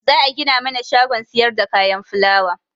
Za'a gina mana shagon siyarda kayan fulawa.